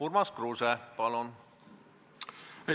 Urmas Kruuse, palun!